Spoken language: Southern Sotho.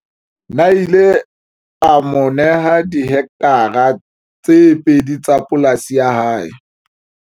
Nel o ile a mo neha dihektare tse pedi tsa polasi ya hae.